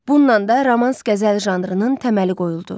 Bununla da romans-qəzəl janrının təməli qoyuldu.